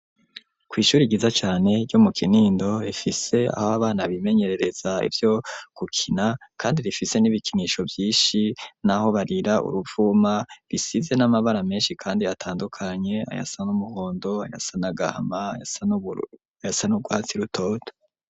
Kw'ishuri ryiza cane ryo mu Kinindo, rifise aho abana bimenyerereza ivyo gukina, kandi rifise n'ibikinisho vyinshi n'aho barira uruvuma, bisize n'amabara menshi kandi atandukanye; ayasa n'umuhondo, ayasa n'agahama, ayasa n'ubururu n'ayasa n'urwatsi rutoto.